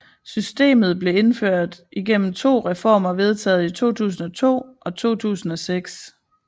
Systemet blev indført igennem to reformer vedtaget i 2002 og 2006